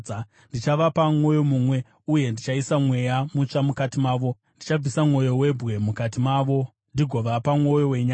Ndichavapa mwoyo mumwe uye ndichaisa mweya mutsva mukati mavo; ndichabvisa mwoyo webwe mukati mavo ndigovapa mwoyo wenyama.